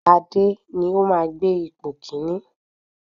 Ṣadé ni ó máa gbé ipò kíní.